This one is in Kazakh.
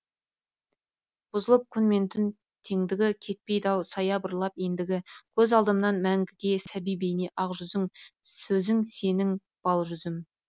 бұзылып күн мен түн теңдігі кетпейді ау саябырлап ендігі көз алдымнан мәңгіге сәби бейне ақ жүзің сөзің сенің бал жүзім